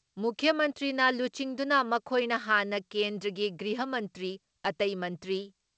ꯃꯨꯈ꯭ꯌ ꯃꯟꯇ꯭ꯔꯤꯅ ꯂꯨꯆꯤꯡꯗꯨꯅ ꯃꯈꯣꯏꯅ ꯍꯥꯟꯅ ꯀꯦꯟꯗ꯭ꯔꯒꯤ ꯒ꯭ꯔꯤꯍ ꯃꯟꯇ꯭ꯔꯤ, ꯑꯇꯩ ꯃꯟꯇ꯭ꯔꯤ